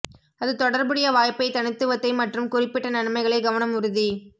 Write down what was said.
அது தொடர்புடைய வாய்ப்பை தனித்துவத்தை மற்றும் குறிப்பிட்ட நன்மைகளை கவனம் உறுதி